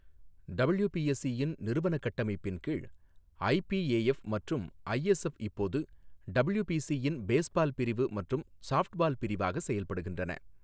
WBSC இன் நிறுவன கட்டமைப்பின் கீழ், ஐபிஏஎஃப் மற்றும் ஐஎஸ்எப் இப்போது டபுள்யூபிஎஸ்சி இன் பேஸ்பால் பிரிவு மற்றும் சாப்ட்பால் பிரிவாக செயல்படுகின்றன.